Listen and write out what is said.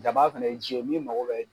Jaba fɛnɛ ye ji ye min mago bɛ